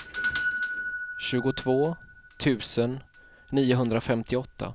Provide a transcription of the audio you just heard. tjugotvå tusen niohundrafemtioåtta